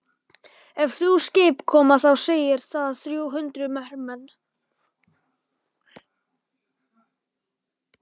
Ef þrjú skip koma þá segir það þrjú hundruð hermenn.